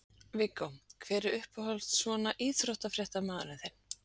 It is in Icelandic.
Viggó: hver er uppáhalds svona frjálsíþróttamaðurinn þinn?